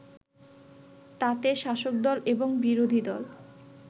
তাতে শাসকদল এবং বিরোধীদল